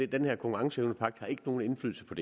den her konkurrenceevnepagt har ikke nogen indflydelse på